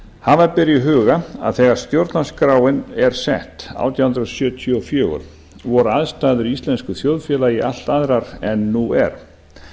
hafa ber í huga að þegar stjórnarskráin er sett átján hundruð sjötíu og fjögur voru aðstæður í íslensku þjóðfélagi allt aðrar en nú er